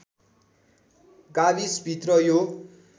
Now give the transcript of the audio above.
गाविसभित्र यो